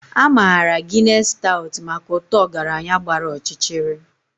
A maara Guinness Stout maka ụtọ ọgaranya gbara ọchịchịrị.